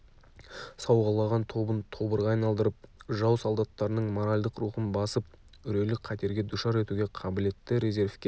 сауғалаған тобын тобырға айналдырып жау солдаттарының моральдық рухын басып үрейлі қатерге душар етуге қабілетті резервке